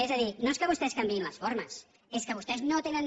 és a dir no és que vostès canviïn les formes és que vostès no tenen